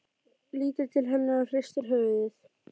Lítur til hennar og hristir höfuðið.